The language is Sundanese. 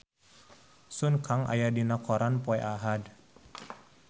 Sun Kang aya dina koran poe Ahad